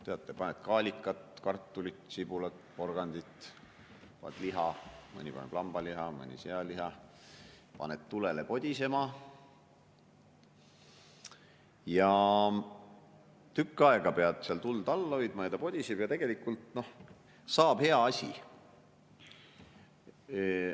Teate ju, paned kaalikat, kartulit, sibulat, porgandit, liha, mõni paneb lambaliha, mõni sealiha, paned tulele podisema ja tükk aega pead tuld all hoidma, ta podiseb seal ja tegelikult saab hea asi.